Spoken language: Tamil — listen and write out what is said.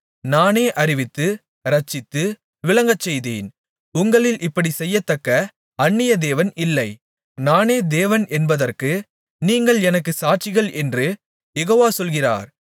நானே அறிவித்து இரட்சித்து விளங்கச்செய்தேன் உங்களில் இப்படிச் செய்யத்தக்க அந்நிய தேவன் இல்லை நானே தேவன் என்பதற்கு நீங்கள் எனக்குச் சாட்சிகள் என்று யெகோவா சொல்கிறார்